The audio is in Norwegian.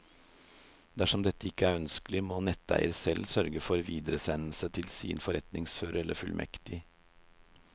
Dersom dette ikke er ønskelig, må netteier selv sørge for videresendelse til sin forretningsfører eller fullmektig.